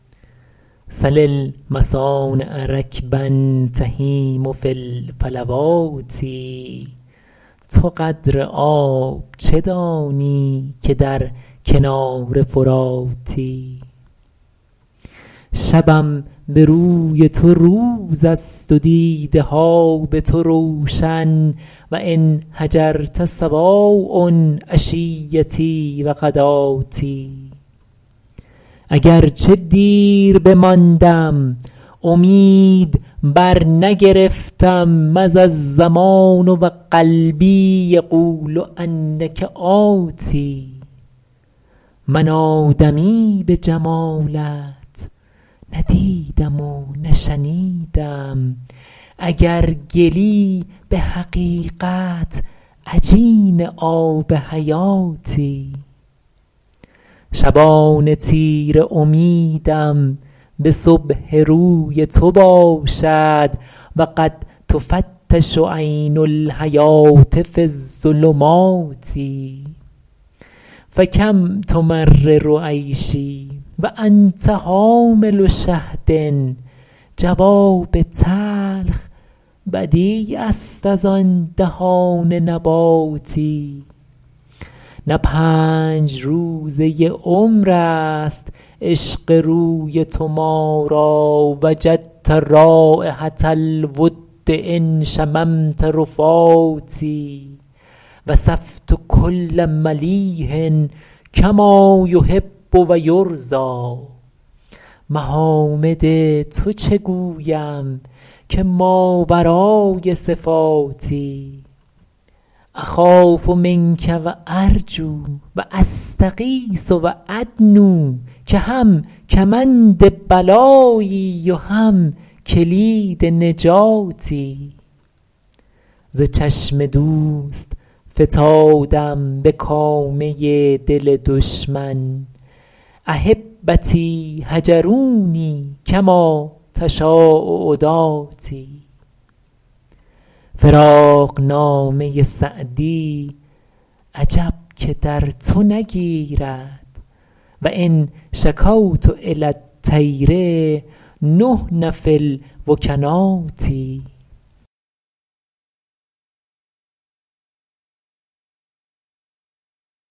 سل المصانع رکبا تهیم فی الفلوات تو قدر آب چه دانی که در کنار فراتی شبم به روی تو روز است و دیده ها به تو روشن و إن هجرت سواء عشیتي و غداتي اگر چه دیر بماندم امید برنگرفتم مضی الزمان و قلبي یقول إنک آت من آدمی به جمالت نه دیدم و نه شنیدم اگر گلی به حقیقت عجین آب حیاتی شبان تیره امیدم به صبح روی تو باشد و قد تفتش عین الحیوة في الظلمات فکم تمرر عیشي و أنت حامل شهد جواب تلخ بدیع است از آن دهان نباتی نه پنج روزه عمر است عشق روی تو ما را وجدت رایحة الود إن شممت رفاتي وصفت کل ملیح کما یحب و یرضیٰ محامد تو چه گویم که ماورای صفاتی أخاف منک و أرجو و أستغیث و أدنو که هم کمند بلایی و هم کلید نجاتی ز چشم دوست فتادم به کامه دل دشمن أحبتي هجروني کما تشاء عداتي فراقنامه سعدی عجب که در تو نگیرد و إن شکوت إلی الطیر نحن في الوکنات